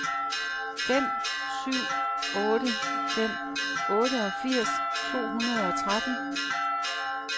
fem syv otte fem otteogfirs to hundrede og tretten